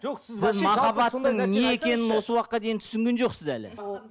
жоқ сіз махаббатың не екенін осы уақытқа дейін түсінген жоқсыз әлі